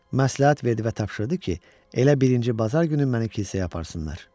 Məsləhət verdi və tapşırdı ki, elə birinci bazar günü məni kilsəyə aparsınlar.